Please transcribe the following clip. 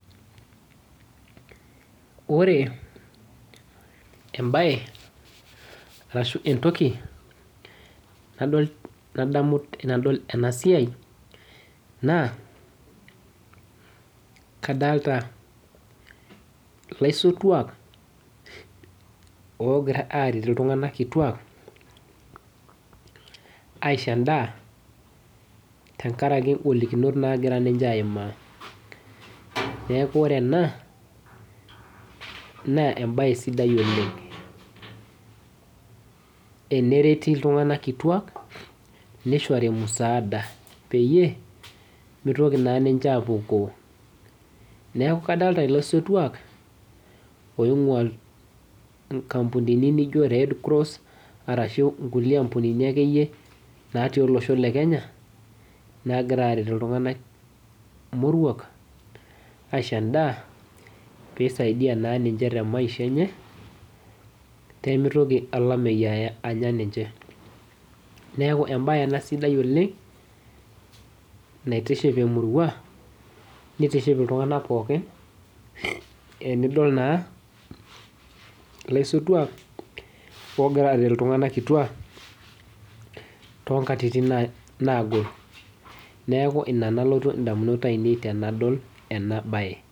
ore ee mbae arashu ee ntoki nadamu tanadol ana siai naa kadalta laisotuak logira aretu ltung'na kitua aisho ndaa tangarake nkolikinot nagira nyee aimaa naaku ore ana naa mbae sidai oleng tenereti ltung'na kitua asho ndaa peimetoki naa ninje apukoo naaku kadolita laisotuak ong'uaa nkambunini nijo red cross arashu kambunini akeyie naati losho lekenya nagira aretu ltung'na tomurua aisho ndaa peisaidia naa ninye te maisha enye pemetoki lamei aya ninye naaku embae ana sidai oleng natiship tomuruak netiship ltung'ana pooki enidol laisotuak ogira aret ltung'ana tongatitin naagol naaku inia nalotu ndamunot ainen tanadol ana bae